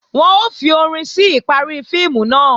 Wọ́n ó fi orin sí ìparí fíìmù náà